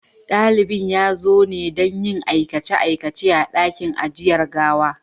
Dalibin ya zo ne don aikace-aikacen a ɗakin ajiyar gawa.